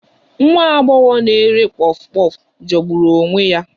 Nwa agbọghọ na-ere puff puff jọgburu onwe ya